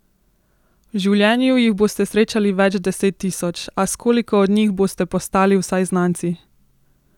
V življenju jih boste srečali več deset tisoč, a s koliko od njih boste postali vsaj znanci?